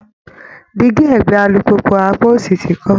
Dígí ẹ̀gbẹ́ alùpùpù apá òsì ti kán